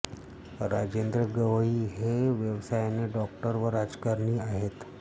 राजेंद्र गवई हे व्यवसायाने डॉक्टर व राजकारणी आहेत